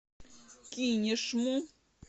кинешму